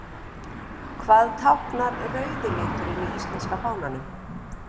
Hvað táknar rauði liturinn í íslenska fánanum?